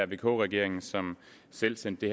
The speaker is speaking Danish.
vk regeringen som selv sendte